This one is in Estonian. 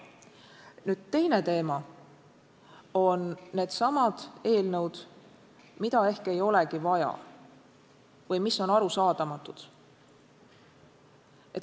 Nüüd, teine teema on eelnõud, mida ehk ei olegi vaja või mis on arusaadamatud.